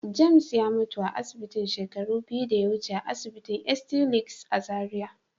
"James" ya mutu a asibitin shekaru biyu da ya wuce a asinitin st. Luke's" a Zaria.